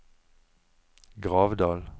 Gravdal